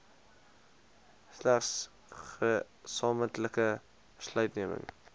selfs gesamentlike besluitneming